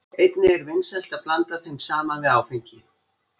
Einnig er vinsælt að blanda þeim saman við áfengi.